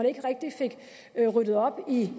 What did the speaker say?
ikke rigtig fik ryddet op